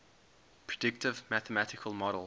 predictive mathematical model